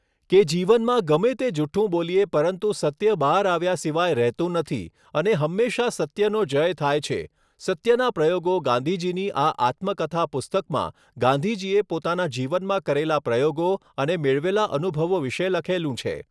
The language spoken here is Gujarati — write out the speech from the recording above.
કે જીવનમાં ગમે તે જૂઠ્ઠું બોલીએ પરંતુ સત્ય બહાર આવ્યા સિવાય રહેતું નથી અને હંમેશાં સત્યનો જય થાય છે સત્યના પ્રયોગો ગાંધીજીની આ આત્મકથા પુસ્તકમાં ગાંધીજીએ પોતાના જીવનમાં કરેલા પ્રયોગો અને મેળવેલા અનુભવો વિશે લખેલું છે